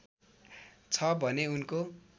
छ भने उनको